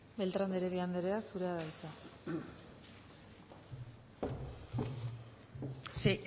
beltrán de heredia andrea zurea da hitza sí